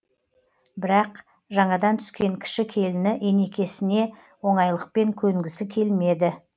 бірақ жаңадан түскен кіші келіні енекесіне оңайлықпен көнгісі келмеді